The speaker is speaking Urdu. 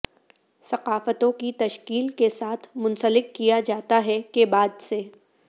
ثقافتوں کی تشکیل کے ساتھ منسلک کیا جاتا ہے کے بعد سے